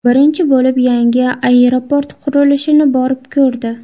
Birinchi bo‘lib yangi aeroport qurilishini borib ko‘rdi.